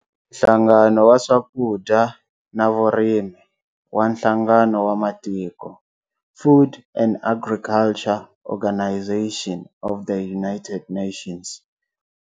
Nhlangano wa Swakudya na Vurimi wa Nhlangano wa Matiko, Food and Agriculture Organization of the United Nations